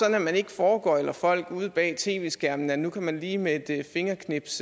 at man ikke foregøgler folk ude bag tv skærmene at nu kan man lige med et fingerknips